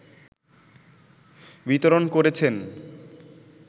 বিতরণ করেছেন